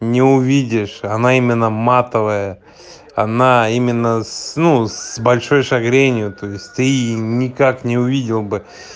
не увидишь она именно матовая она именно с ну с большой шагренью то есть ты никак не увидел бы